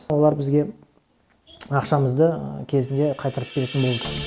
солар бізге ақшамызды кезінде қайтарып беретін болды